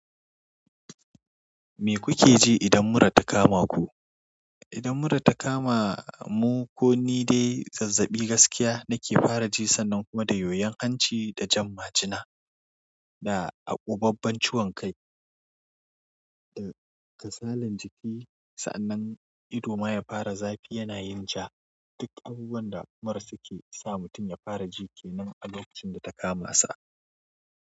Me kuke ji idan mura ta kama ku? Idan mura ta kama mu ko ni dai zazzaɓi gaskiya nake fara ji sannan kuma da yoyon hanci da jan majina da akubabben ciwon kai da kasalan jiki. Sa'annan ido ma ya fara zafi yana yin ja. Duk abubuwan da mura suke sa mutum ya fara ji kenan a lokacin da ta kamasa.